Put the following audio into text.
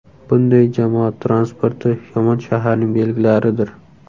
Bunday jamoat transporti yomon shaharning belgilaridir.